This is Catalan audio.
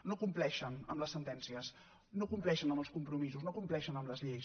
no compleixen les sentències no compleixen els compromisos no compleixen les lleis